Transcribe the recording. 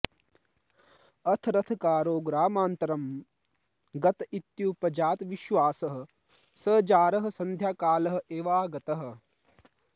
अथ रथकारो ग्रामान्तरं गत इत्युपजातविश्वासः स जारः सन्ध्याकाल एवागतः